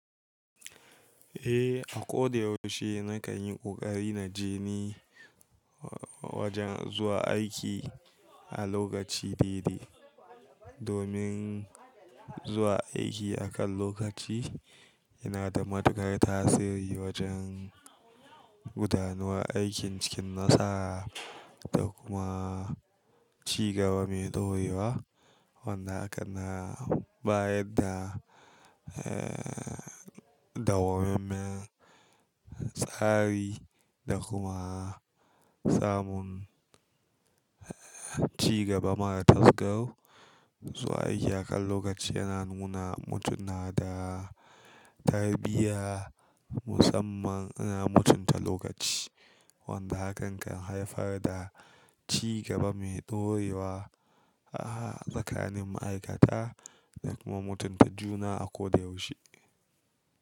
Eh, a ko da yaushe na kan yi ƙoƙari na je ni wajen zuwa aiki a lokaci daidai. Domin zuwa aiki akan lokaci yana da matukar tasiri wajen gudanarwa aikin cikin nassa da kuma ci gaba mai ɗorewa. Wanda hakan na bayar da, eh, dawwammamen tsari da kuma samun, eh, ci gaba mara tasgarau. Zuwa aiki akan lokaci yana nuna mutum na da tarbiyya musamman yana mutunta lokaci. Wanda hakan kan haifar da ci gaba mai ɗorewa a tsakanin ma'aikata da kuma mutunta juna a ko da yaushe.